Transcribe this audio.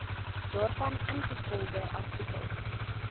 daarvan ingevolge artikel